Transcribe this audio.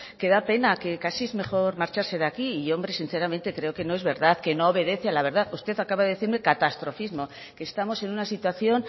que da pena que casi es mejor marcharse de aquí y hombre sinceramente creo que no es verdad que no obedece a la verdad usted acaba de decirme catastrofismo que estamos en una situación